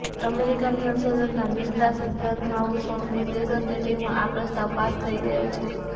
American સંસદના નીચલા સદન હાઉસ ઓફ રિપ્રેઝેન્ટેટીવમાં આ પ્રસ્તાવ પાસ થઈ ગયો છે